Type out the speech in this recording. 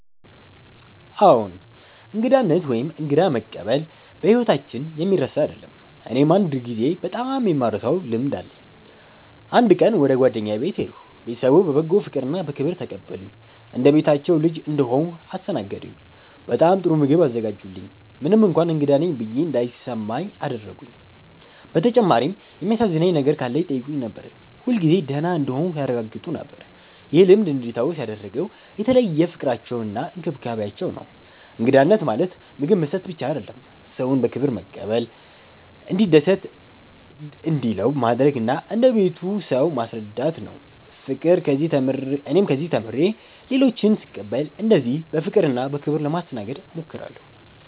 አዎን፣ እንግዳነት ወይም እንግዳ መቀበል በሕይወታችን የሚረሳ አይደለም። እኔም አንድ ጊዜ በጣም የማልረሳውን ልምድ አለኝ። አንድ ቀን ወደ ጓደኛዬ ቤት ሄድሁ። ቤተሰቡ በበጎ ፍቅርና በክብር ተቀበሉኝ። እንደ ቤታቸው ልጅ እንደሆንሁ አስተናገዱኝ፤ በጣም ጥሩ ምግብ አዘጋጁልኝ፣ ምንም እንኳን እንግዳ ነኝ ብዬ እንዳይሰማ አደረጉኝ። በተጨማሪም የሚያሳዝነኝ ነገር ካለ ይጠይቁኝ ነበር፣ ሁልጊዜ ደህና እንደሆንሁ ያረጋግጡ ነበር። ይህ ልምድ እንዲታወስ ያደረገው የተለየው ፍቅራቸውና እንክብካቤያቸው ነው። እንግዳነት ማለት ምግብ መስጠት ብቻ አይደለም፤ ሰውን በክብር መቀበል፣ እንዲደስ እንዲለው ማድረግ እና እንደ ቤቱ ሰው ማስረዳት ነው። እኔም ከዚህ ተምሬ ሌሎችን ስቀበል እንደዚህ በፍቅርና በክብር ለማስተናገድ እሞክራለሁ።